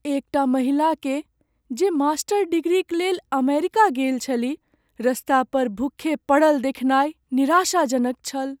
एकटा महिलाकेँ, जे मास्टर डिग्रीक लेल अमेरिका गेल छलीह, रस्तापर भुक्खे पड़ल देखनाइ निराशाजनक छल।